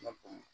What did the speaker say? Lakɔli